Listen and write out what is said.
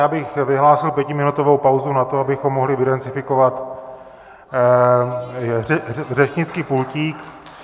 Já bych vyhlásil pětiminutovou pauzu na to, abychom mohli vydezinfikovat řečnický pultík.